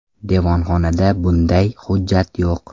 Devonxonada bunday hujjat yo‘q.